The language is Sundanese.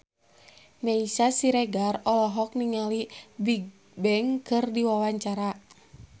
Meisya Siregar olohok ningali Bigbang keur diwawancara